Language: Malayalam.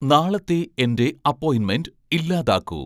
നാളത്തെ എൻ്റെ അപ്പോയിൻമെൻ്റ് ഇല്ലാതാക്കൂ